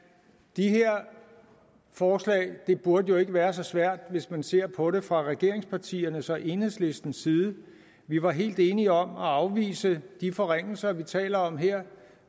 de her forslag burde ikke være så svære hvis man ser på det fra regeringspartiernes og enhedslistens side vi var helt enige om at afvise de forringelser vi taler om her